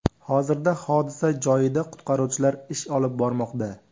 Hozirda hodisa joyida qutqaruvchilar ish olib bormoqda.